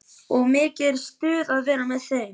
Og er mikið stuð að vera með þeim?